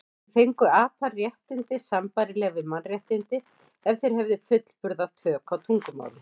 En fengju apar réttindi sambærileg við mannréttindi ef þeir hefðu fullburða tök á tungumáli?